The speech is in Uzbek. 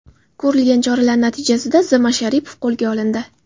Ko‘rilgan choralar natijasida Z. Mamasharipov qo‘lga olindi.